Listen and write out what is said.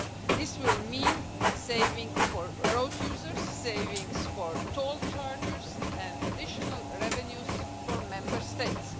This will mean savings for road users, savings for toll chargers and additional revenues for Member States.